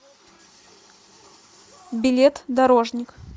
билет дорожник